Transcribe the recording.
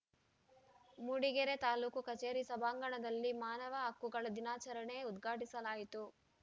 ಮೂಡಿಗೆರೆ ತಾಲೂಕು ಕಚೇರಿ ಸಭಾಂಗಣದಲ್ಲಿ ಮಾನವ ಹಕ್ಕುಗಳ ದಿನಾಚರಣೆ ಉದ್ಘಾಟಿಸಲಾಯಿತು